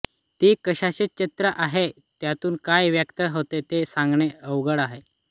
ती कशाची चित्रे आहेत त्यातून काय व्यक्त होते हे सांगणे अवघड आहे